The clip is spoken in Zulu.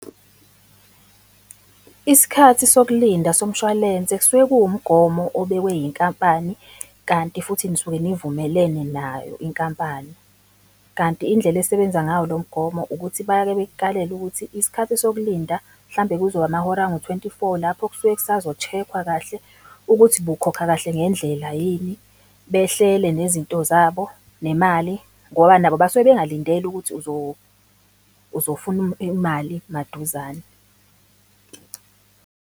Isikhathi sokulinda somshwalense kusuke kuwumgomo obekwe yinkampani kanti futhi nisuke nivumelene nayo inkampani. Kanti indlela esebenza ngawo lo mgomo ukuthi bake bekukalele ukuthi isikhathi sokulinda mhlambe kuzoba amahora angu-twenty-four lapho kusuke kusazo-check-wa kahle ukuthi bukhokha kahle ngendlela yini? Behlele nezinto zabo, nemali ngoba nabo basuke bengalindele ukuthi uzofuna imali maduzane.